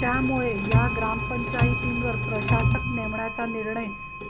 त्यामुळे या ग्रामपंचायतींवर प्रशासक नेमण्याचा निर्णय